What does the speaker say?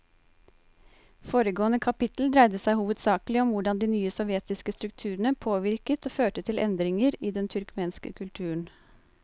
Foregående kapittel dreide seg hovedsakelig om hvordan de nye sovjetiske strukturene påvirket og førte til endringer i den turkmenske kulturen.